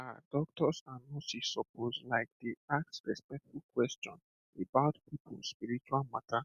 um doctors and nurses suppose like dey ask respectful question about people spiritual matter